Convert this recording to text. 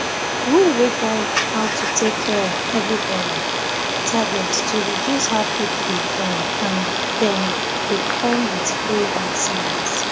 rule wey guide how to take care of everybody target to reduce how people dey born and dem dey come with free health service